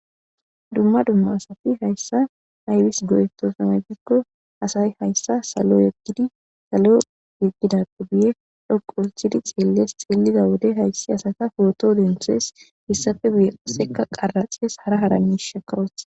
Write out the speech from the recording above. dumma dumma asati hayssa aybis go7etosona gikko asay hayssa salo yeggidi salo yeggidappe buye dhoqo uthidi xeelles xeelida wode hayssi asata poto denthees hissafe guye qasseka qaraxees hara hara mishaka oothes.